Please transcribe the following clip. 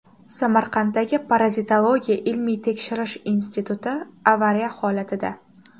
Samarqanddagi Parazitologiya ilmiy-tekshirish instituti avariya holatida.